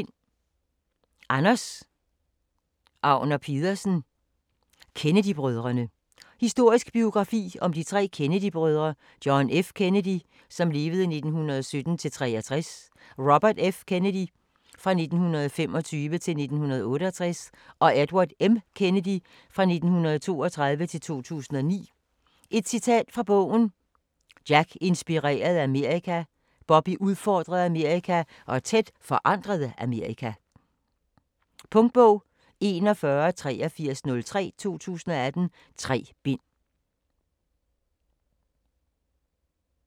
Agner Pedersen, Anders: Kennedy-brødrene Historisk biografi om de tre Kennedy-brødre : John F. Kennedy (1917-1963), Robert F. Kennedy (1925-1968) og Edward M. Kennedy (1932-2009). Et citat fra bogen: "Jack inspirerede Amerika, Bobby udfordrede Amerika og Ted forandrede Amerika". Punktbog 418303 2018. 3 bind.